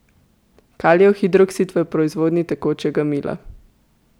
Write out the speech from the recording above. Kalijev hidroksid v proizvodnji tekočega mila.